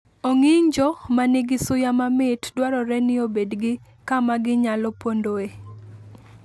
Ong'injo ma nigi suya mamit dwarore ni obed gi kama ginyalo pondoe